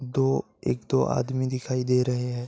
दो एक दो आदमी दिखाई दे रहे हैं।